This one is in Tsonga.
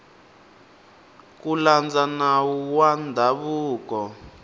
ku landza nawu wa ndzhavuko